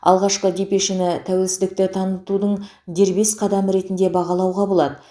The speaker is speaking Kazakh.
алғашқы депешені тәуелсіздікті танытудың дербес қадамы ретінде бағалауға болады